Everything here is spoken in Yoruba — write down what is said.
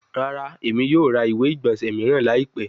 Rara, Emi yoo ra iwe-igbọnsẹ miiran laipẹ